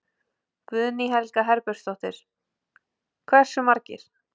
Guðný Helga Herbertsdóttir: Hversu margir?